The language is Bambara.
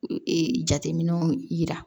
Ee jateminɛw yira